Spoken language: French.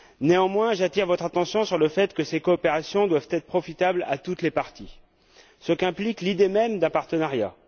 Néanmoins, j'attire votre attention sur le fait que ces coopérations doivent être profitables à toutes les parties, ce qu'implique l'idée même d'un partenariat.